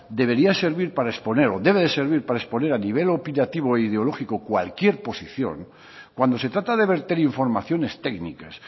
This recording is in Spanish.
debería servir para exponer o debe de servir para exponer a nivel opinativo o ideológico cualquier posición cuando se trata de verter informaciones técnicas